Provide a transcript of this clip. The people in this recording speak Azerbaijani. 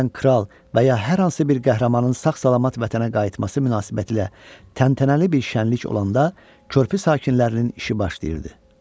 Məsələn, kral və ya hər hansı bir qəhrəmanın sağ-salamat vətənə qayıtması münasibətilə təntənəli bir şəniq olanda körpü sakinlərinin işi başlayırdı.